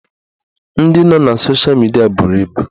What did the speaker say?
Ndị nọ na sosha midia buru ibu